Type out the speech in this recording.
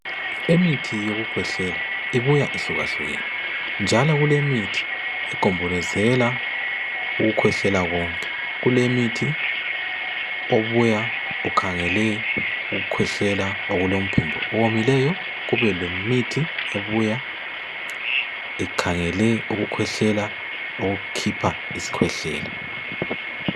Imithi yokukhwehlela ibuya yehlukahlukene njalo kulemithi ebuya igombozele ukukhwehlela konke Kulemithi yokukhwehlela ebuya ikhangele ukukhwehlela okomileyo. Kube lemithi ebuya ikhangele ukukhwehlela okukhipha isikhwehlela.